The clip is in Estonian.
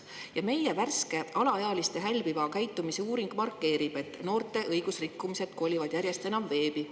Ja meie värske alaealiste hälbiva käitumise uuring markeerib, et noorte õigusrikkumised kolivad järjest enam veebi.